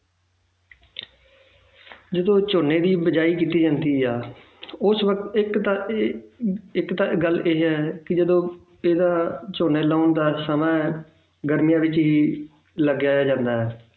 ਜਦੋਂ ਝੋਨੇ ਦੀ ਬੀਜਾਈ ਕੀਤੀ ਜਾਂਦੀ ਆ ਉਸ ਵਕਤ ਇੱਕ ਤਾਂ ਇਹ ਇੱਕ ਤਾਂ ਗੱਲ ਇਹ ਆ ਕਿ ਜਦੋਂ ਇਹਦਾ ਝੋਨੇ ਲਾਉਣ ਦਾ ਸਮਾਂ ਹੈ ਗਰਮੀਆਂ ਵਿੱਚ ਹੀ ਲਗਾਇਆ ਜਾਂਦਾ ਹੈ